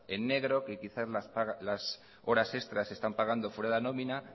en negro que quizás las horas extras están pagando fuera de la nómina